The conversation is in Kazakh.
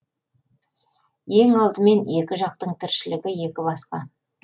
ең алдымен екі жақтың тіршілігі екі басқа